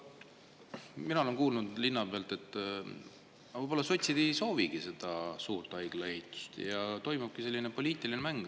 Mina olen kuulnud linna pealt, et võib-olla sotsid ei soovigi seda suurt haigla ehitust ja toimub selline poliitiline mäng.